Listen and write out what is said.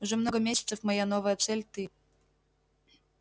уже много месяцев моя новая цель ты